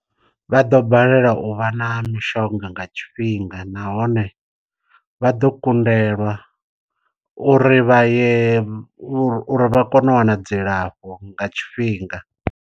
Vha ḓo balelwa u vha na mishonga nga tshifhinga nahone vha ḓo kundelwa uri vha ye uri vha kone u wana dzilafho nga tshifhinga.